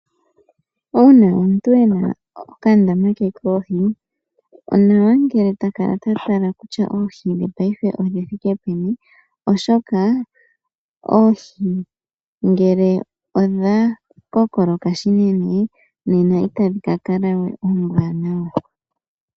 Uuna omuntu ena okandama ke koohi, onawa ngele ta kala ta tala kutya oohi dhe paife odhi thike peni oshoka oohi ngele odha kokoloka shinene, nena itadhi ka kala we oombwaanawa.